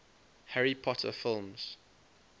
harry potter films